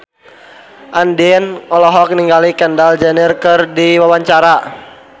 Andien olohok ningali Kendall Jenner keur diwawancara